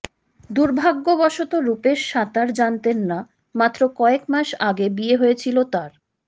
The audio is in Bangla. দুর্ভাগ্যবশত রূপেশ সাঁতার জানতেন না মাত্র কয়েক মাস আগে বিয়ে হয়েছিল তাঁর